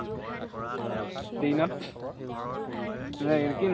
ten ত নাই এইটো কি nine